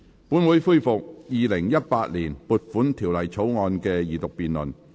本會恢復《2018年撥款條例草案》的二讀辯論。